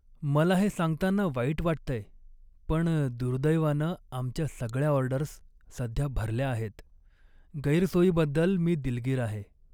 मला हे सांगताना वाईट वाटतंय, पण दुर्दैवानं आमच्या सगळ्या ऑर्डर्स सध्या भरल्या आहेत. गैरसोयीबद्दल मी दिलगीर आहे.